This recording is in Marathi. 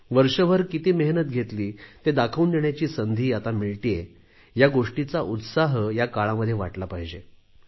वर्षभर किती मेहनत केली ते दाखवून देण्याची संधी आता मिळतेय या गोष्टीचा उत्साह या काळामध्ये वाटला पाहिजे